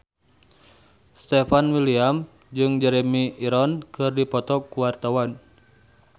Stefan William jeung Jeremy Irons keur dipoto ku wartawan